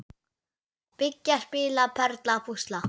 Byggja- spila- perla- púsla